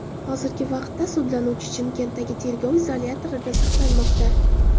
Hozirgi vaqtda sudlanuvchi Chimkentdagi tergov izolyatorida saqlanmoqda.